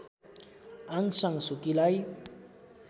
Aung San सुकीलाई